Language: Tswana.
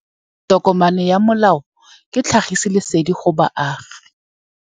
Tokomane ya molao ke tlhagisi lesedi go baagi.